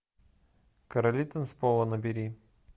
короли танцпола набери